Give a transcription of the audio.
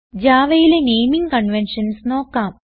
Javaയിലെ naming conventions നോക്കാം